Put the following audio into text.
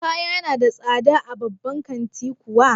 Kaya na da tsada a babban kanti kuwa?